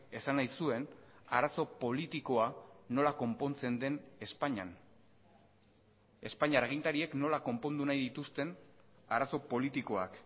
esan nahi zuen arazo politikoa nola konpontzen den espainian espainiar agintariek nola konpondu nahi dituzten arazo politikoak